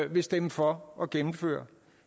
vil stemme for at gennemføre